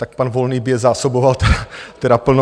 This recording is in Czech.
Tak pan Volný by je zásoboval tedy plně.